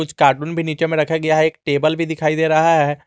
कुछ कार्टून भी नीचे में रखा गया है एक टेबल भी दिखाई दे रहा है।